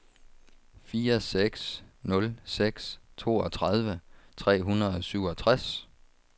fire seks nul seks toogtredive tre hundrede og syvogtres